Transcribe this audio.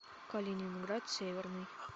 калининград северный